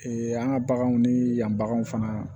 an ka baganw ni yan baganw fana